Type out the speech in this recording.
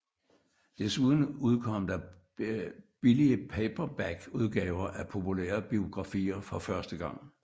Desuden udkom der billige paperbackudgaver af populære biografier for første gang